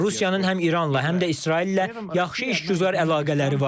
Rusiyanın həm İranla, həm də İsraillə yaxşı işgüzar əlaqələri var.